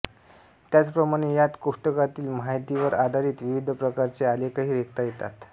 त्याचप्रमाणे यांत कोष्टकातील माहितीवर आधारित विविध प्रकारचे आलेखही रेखता येतात